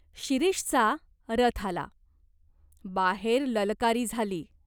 शिरीषचा रथ आला. बाहेर ललकारी झाली.